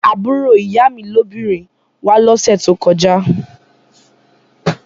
Àbúrò ìyá mi lóbìnrin wá lọ́sẹ̀ tó kọjá